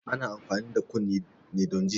Ana amfani da kunne ne don ji